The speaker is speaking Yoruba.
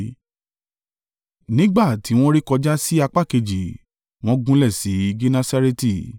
Nígbà tí wọn rékọjá sí apá kejì wọ́n gúnlẹ̀ sí Genesareti.